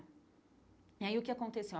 E aí o que aconteceu?